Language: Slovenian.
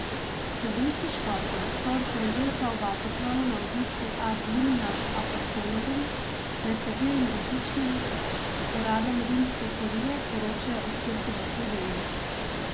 Slovenski škofje so od ponedeljka v Vatikanu na obisku ad limina apostolorum, med katerim različnim uradom rimske kurije poročajo o Cerkvi v Sloveniji.